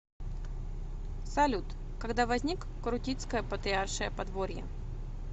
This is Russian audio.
салют когда возник крутицкое патриаршее подворье